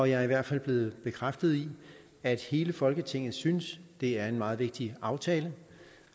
jeg er i hvert fald blevet bekræftet i at hele folketinget synes det er en meget vigtig aftale